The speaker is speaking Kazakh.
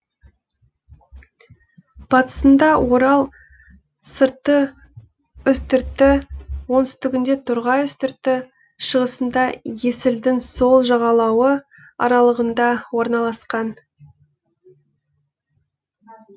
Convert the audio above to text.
батысында орал сырты үстірті оңтүстігінде торғай үстірті шығысында есілдің сол жағалауы аралығында орналасқан